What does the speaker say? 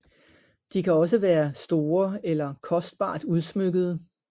De kan også være store eller kostbart udsmykkede